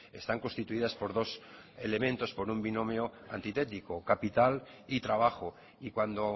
están constituidas por dos elementos por un binomio antitético capital y trabajo y cuando